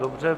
Dobře.